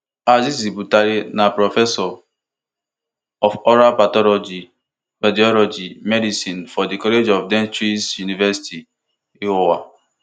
azeez butali na professor of oral pathology radiology medicine for di college of dentistry university of iowa